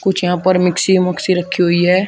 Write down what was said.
कुछ यहां पर मिक्सी मोक्सि रखी हुई है।